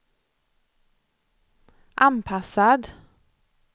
anpassad